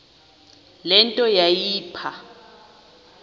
le nto yayipha